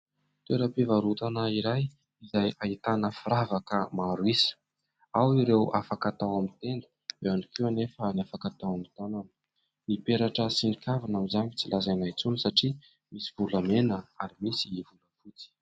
Toeram-pivarotana iray izay ahitana firavaka maro isa : ao ireo afaka atao amin'ny tenda, eo ihany koa anefa ny afaka atao amin'ny tanana, ny peratra sy ny kavina amin'izany efa tsy lazaina intsony satria misy volamena ary misy volafotsy.